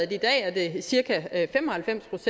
i dag er cirka fem og halvfems